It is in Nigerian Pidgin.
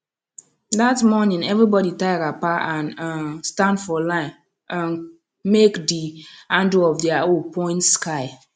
that morning everybody tie wrapper and um stand for line um make the handle of their hoe point sky